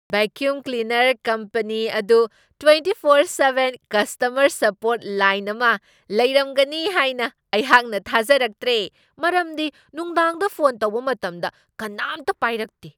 Vacuum cleaner company ꯑꯗꯨ twenty four seven customer support line ꯑꯃ ꯂꯩꯔꯝꯒꯅꯤ ꯍꯥꯏꯅ ꯑꯩꯍꯥꯛꯅ ꯊꯥꯖꯔꯛꯇ꯭ꯔꯦ, ꯃꯔꯝꯗꯤ ꯅꯨꯡꯗꯥꯡꯗ ꯐꯣꯟ ꯇꯧꯕ ꯃꯇꯝꯗ ꯀꯅꯥꯝꯇ ꯄꯥꯏꯔꯛꯇꯦ꯫